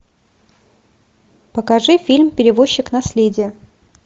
покажи фильм перевозчик наследие